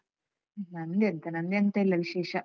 ನಂದೆಂತ ನಂದೆಂತ ಇಲ್ಲ ವಿಶೇಷ.